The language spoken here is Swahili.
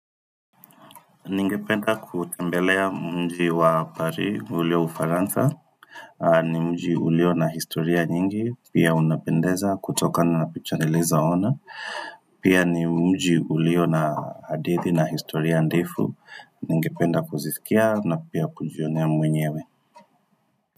Ningependa kutembelea mji wa Paris ulio Ufaransa ni mji ulio na historia nyingi, pia unapendeza kutokana na picha nilizo ona pia ni mji ulio na hadithi na historia ndefu Ningependa kuzisikia na pia kujionea mwenyewe.